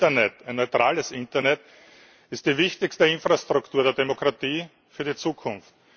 Das Internet ein neutrales Internet ist die wichtigste Infrastruktur der Demokratie für die Zukunft.